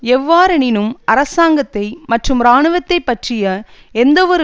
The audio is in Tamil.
எவ்வாறெனினும் அரசாங்கத்தை மற்றும் இராணுவத்தை பற்றிய எந்தவொரு